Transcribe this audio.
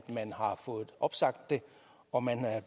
man har fået opsagt den og man er